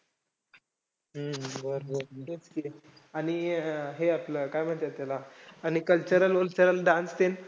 हम्म हम्म बरं बरं ठीके ठीके! आणि हे आपलं काय म्हणत्यात त्याला आणि cultural vultural dance ते.